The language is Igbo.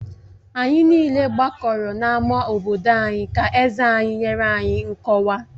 Anyị niile gbakọrọ n'ámá obodo ka eze anyị nyere anyị nkọwa